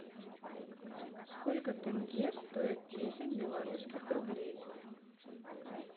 сколько тенге стоит десять белорусских рублей